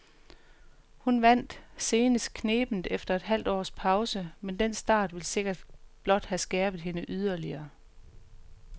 Hun vandt senest knebent efter et halvt års pause, men den start vil sikkert blot have skærpet hende yderligere.